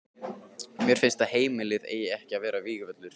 Mér finnst að heimilið eigi ekki að vera vígvöllur.